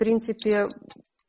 в принципе